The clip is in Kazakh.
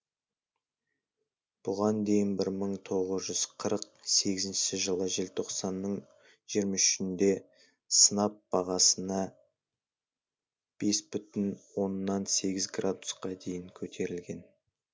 бұған дейін бір мың тоғыз жүз қырық сегізінші жылы желтоқсанның жиырма үшінде сынап бағасына бес бүтін оннан сегіз градусқа дейін көтерілген